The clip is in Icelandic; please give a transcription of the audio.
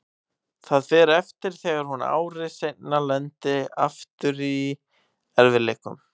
Það fer eftir þegar hún ári seinna lendir aftur í erfiðleikum.